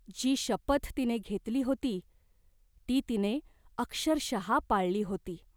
जी शपथ तिने घेतली होती, ती तिने अक्षरशः पाळली होती.